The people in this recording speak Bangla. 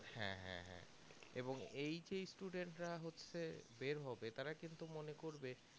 হ্যাঁ হ্যাঁ হ্যাঁ এবং এই যে student রা হচ্ছে বের হবে তারা কিন্তু মনে করবে